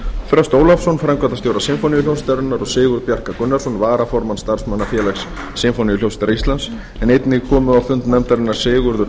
þröst ólafsson framkvæmdastjóra sinfóníuhljómsveitarinnar og sigurð bjarka gunnarsson varaformann starfsmannafélags sinfóníuhljómsveitar íslands einnig komu á fund nefndarinnar sigurður